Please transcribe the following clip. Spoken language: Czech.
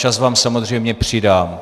Čas vám samozřejmě přidám.